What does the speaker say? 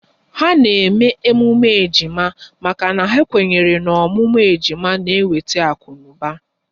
Ha na-eme emume ejima maka na ha kwenyere n'ọmụmụ ejima n'eweta akunuba